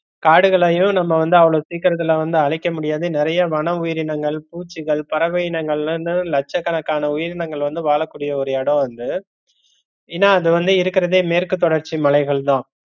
காடுகளையும் நம்ம வந்து அவ்ளோ சீக்கிரத்துல வந்து அழிக்க முடியாது நிறைய வன உயிரங்கள், பூச்சிகள், பறவை இனங்கள்னு லட்ச கணக்கான உயிரினங்கள் வந்து வாழகூடிய ஒரு எடோம் வந்து ஏன்னா அது வந்து இருக்கறதே மேற்கு தொடர்ச்சிமலைகள் தான்.